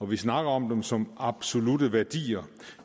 vi snakker om dem som absolutte værdier